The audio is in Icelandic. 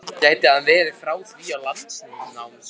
Gæti hann verið frá því á landnámsöld?